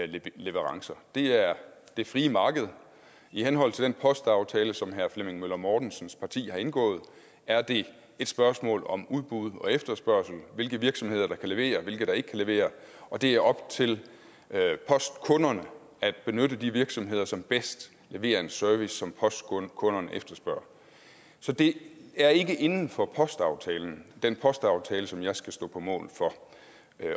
leverancer det er det frie marked i henhold til den postaftale som herre flemming møller mortensens parti har indgået er det et spørgsmål om udbud og efterspørgsel hvilke virksomheder der kan levere og hvilke der ikke kan levere og det er op til postkunderne at benytte de virksomheder som bedst leverer en service som postkunderne efterspørger så det er ikke inden for postaftalen den postaftale som jeg skal stå på mål for